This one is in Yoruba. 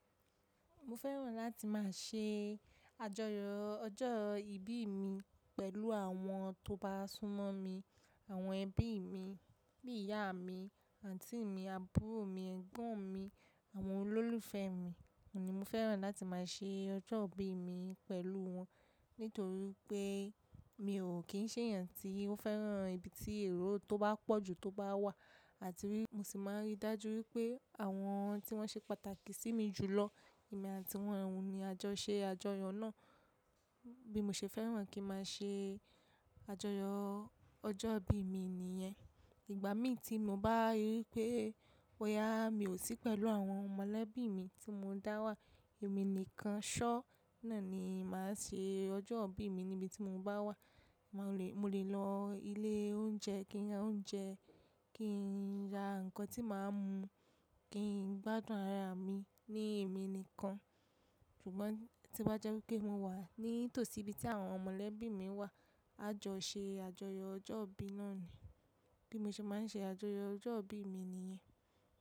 Mo fẹ́ràn láti máa ṣe àjọyọ̀ ọjọ́ ìbí mi pẹ̀lú àwọn tó bá súnmọ́ mi, àwọn ẹbí mi, bí ìyá mi, àǹtí mi, àbúrò mi, ẹ̀gbọ́n mi, àwọn olólùfẹ́ mi ni mo fẹ́ràn láti máa ṣe ọjọ́ ìbí mi pẹ̀lú wọn. Nítorí pé mi ò kí ń ṣe èèyàn tí ó fẹ́ràn ibi tí èrò tó bá pọ̀jù tó bá wà àti rí, mo sì máa ń rí dájú wípé àwọn tí wọ́n ṣe pàtàkì sí mi jù lọ, èmi àti wọ́n ni a jọ ṣe àjọyọ̀ náà. Bí mo ṣe fẹ́ràn kí máa ṣe àjọyọ̀ ọjọ́ ìbí mi nìyẹn. Ìgbà mí tí mo bá rí pé bóyá mi ò sí pẹ̀lú àwọn mọ̀lẹ́bí mi tí mo dá wà, èmi nìkan ṣọ́ náà ni màá ṣe ọjọ́ ìbí mi níbi tí mo bá wà. Mo lè lọ ilé oúnjẹ kí n ra oúnjẹ, kí n ra nǹkan tí màá mu, kí n gbádùn ara mi ní èmi nìkan. Ṣùgbọ́n tí bá jẹ́ wípé mo wà ní tòsí ibi tí àwọn mọ̀lẹ́bí mi wà, a jọ ṣe àjọyọ̀ ọjọ́ ìbí náà ni. Bí mo ṣe máa ń ṣe àjọyọ̀ ọjọ́ ìbí mi nìyẹn.